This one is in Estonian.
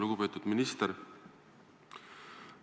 Lugupeetud minister!